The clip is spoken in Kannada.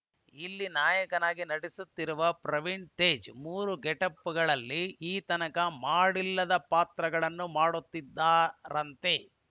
ಇಲ್ಲಿ ನಾಯಕನಾಗಿ ನಟಿಸುತ್ತಿರುವ ಪ್ರವೀಣ್‌ ತೇಜ್‌ ಮೂರು ಗೆಟಪ್‌ಗಳಲ್ಲಿ ಈ ತನಕ ಮಾಡಿಲ್ಲದ ಪಾತ್ರಗಳನ್ನು ಮಾಡುತ್ತಿದ್ದಾರಂತೆ